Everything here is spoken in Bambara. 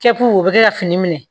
Kɛ pulu o bɛ kɛ ka fini minɛ